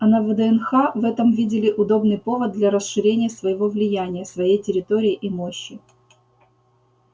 а на вднх в этом видели удобный повод для расширения своего влияния своей территории и мощи